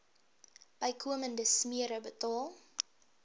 bykomende smere betaal